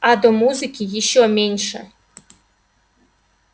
а до музыки ещё меньше